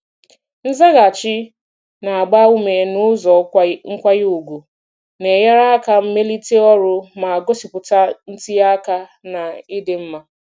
Nzaghachi na-agba ume n'ụzọ nkwanye ùgwù na-enyere aka melite ọrụ ma gosipụta ntinye aka na ịdị mma.